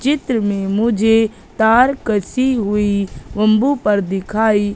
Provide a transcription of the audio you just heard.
चित्र में मुझे तार कसी हुई बंबू पर दिखाई--